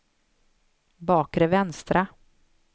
bakre vänstra